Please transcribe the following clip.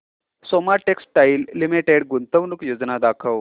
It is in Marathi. सोमा टेक्सटाइल लिमिटेड गुंतवणूक योजना दाखव